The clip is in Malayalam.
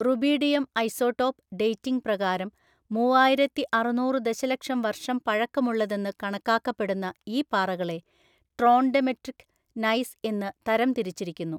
റൂബിഡിയം ഐസോടോപ്പ് ഡേറ്റിംഗ് പ്രകാരം മൂവായിരത്തിഅറുനൂറു ദശലക്ഷം വർഷം പഴക്കമുള്ളതെന്ന് കണക്കാക്കപ്പെടുന്ന ഈ പാറകളെ ട്രോൺഡെമെട്രിക് നൈസ് എന്ന് തരംതിരിച്ചിരിക്കുന്നു.